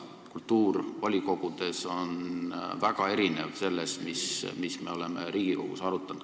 Kultuur volikogudes on väga erinev sellest, mida me oleme Riigikogus arutanud.